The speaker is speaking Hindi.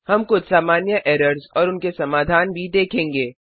हम कुछ सामान्य एरर्स और उनके समाधान भी देखेंगे